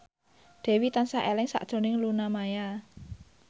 Dewi tansah eling sakjroning Luna Maya